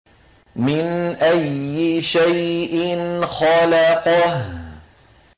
مِنْ أَيِّ شَيْءٍ خَلَقَهُ